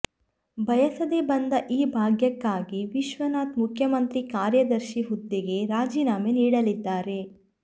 ಬಯಸದೇ ಬಂದ ಈ ಭಾಗ್ಯಕ್ಕಾಗಿ ವಿಶ್ವನಾಥ್ ಮುಖ್ಯಮಂತ್ರಿ ಕಾರ್ಯದರ್ಶಿ ಹುದ್ದೆಗೆ ರಾಜೀನಾಮೆ ನೀಡಲಿದ್ದಾರೆ